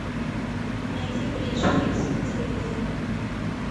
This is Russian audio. найти бридж хитс на телевизоре